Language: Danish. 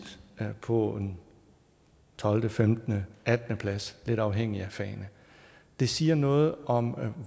har ligget på en 12 15 attende plads lidt afhængig af fagene det siger noget om